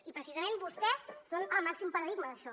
i precisament vostès són el màxim paradigma d’això